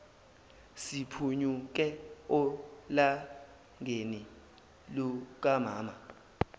siphunyuke olakeni lukamama